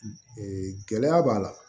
gɛlɛya b'a la